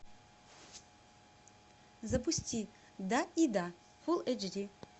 запусти да и да фул эйч ди